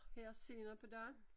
Her senere på dagen